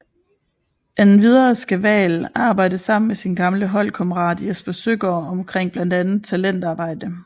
Endvidere skal Wael arbejde sammen med sin gamle holdkammerat Jesper Søgaard omkring blandt andet talentarbejde